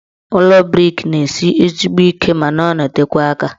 Ụlọ brik na-esi ezigbo ike ma na-anọtekwa aka.